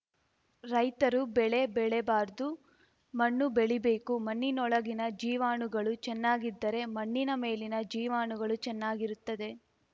ರೈತರು ಬೆಳೆ ಬೆಳೆಬಾರ್ದು ಮಣ್ಣು ಬೆಳೀಬೇಕು ಮಣ್ಣಿನೊಳಗಿನ ಜೀವಾಣುಗಳು ಚೆನ್ನಾಗಿದ್ದರೆ ಮಣ್ಣಿನ ಮೇಲಿನ ಜೀವಾಣುಗಳೂ ಚೆನ್ನಾಗಿರುತ್ತದೆ